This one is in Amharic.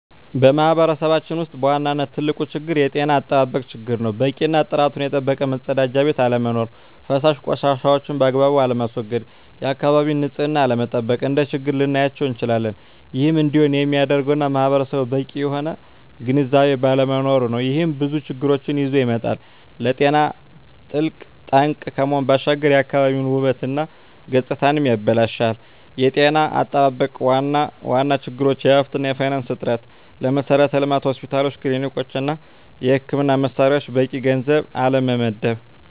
በማህበረሰባችን ውስጥ በዋናነት ትልቁ ችግር የጤና አጠባበቅ ችግር ነው። በቂ እና ጥራቱን የጠበቀ መፀዳጃ ቤት አለመኖር። ፈሳሽ ቆሻሻዎችን ባግባቡ አለማስዎገድ፣ የአካባቢን ንፅህና አለመጠበቅ፣ እንደ ችግር ልናያቸው እንችላለን። ይህም እንዲሆን የሚያደርገውም ማህበረሰቡ በቂ የሆነ ግንዝቤ ባለመኖሩ ነው። ይህም ብዙ ችግሮችን ይዞ ይመጣል። ለጤና ትልቅ ጠንቅ ከመሆኑ ባሻገር የአካባቢን ውበት እና ገፅታንም ያበላሻል። የጤና አጠባበቅ ዋና ዋና ችግሮች የሀብት እና የፋይናንስ እጥረት፣ ለመሠረተ ልማት (ሆስፒታሎች፣ ክሊኒኮች) እና የሕክምና መሣሪያዎች በቂ ገንዘብ አለመመደብ።